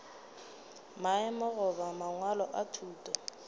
maemo goba mangwalo a thuto